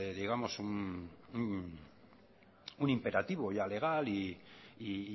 un imperativo legal y